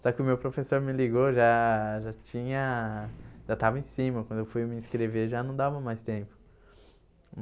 Só que o meu professor me ligou, já já tinha... já estava em cima, quando eu fui me inscrever já não dava mais tempo.